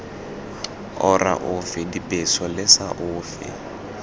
ora ofe dibeso lesa ofe